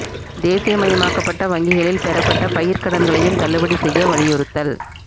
தேசிய மயமாக்கப்பட்ட வங்கிகளில் பெறப்பட்ட பயிா்க் கடன்களையும் தள்ளுபடி செய்ய வலியுறுத்தல்